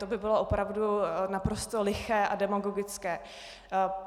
To by bylo opravdu naprosto liché a demagogické.